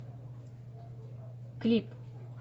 клик